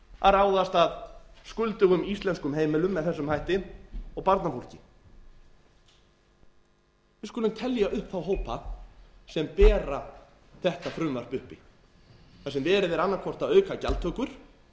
að ráðast að skuldugum íslenskum heimilum með þessum hætti og barnafólki við skulum telja upp þá hópa sem bera þetta frumvarp uppi þar sem verið er annað hvort að auka gjaldtökur